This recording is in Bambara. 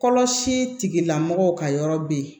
Kɔlɔsi tigilamɔgɔw ka yɔrɔ bɛ yen